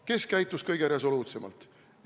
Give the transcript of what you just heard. Kes käitus kõige resoluutsemalt?